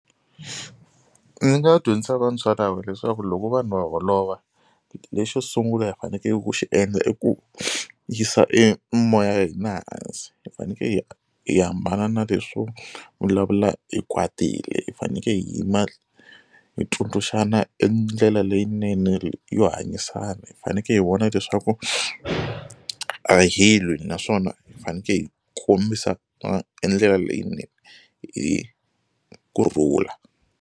Ndzi nga dyondzisa vantshwa lava leswaku loko vanhu va holova lexo sungula hi fanekele ku xi endla i ku yisa e moya ya hina hansi hi faneke hi hambana na leswo vulavula hi kwatile hi faneke hi yima hi tsundzuxana e ndlela leyinene yo hanyisana hi faneke hi vona leswaku a hi lwi naswona hi faneke hi kombisa endlela leyinene hi kurhula.